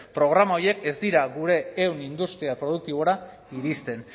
programa horiek ez dira gure ehun industrial produktibora iristen